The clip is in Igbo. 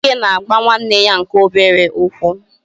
Chike na-agba nwanne ya nke obere ụkwụ